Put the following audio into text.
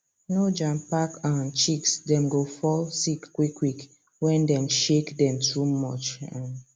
no jam pack um chicks dem go fall sick quick quick when dem shake dem too much um